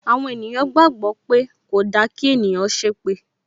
Àwọn ènìyàn gbàgbó pé kòda kí ènìyàn ṣépè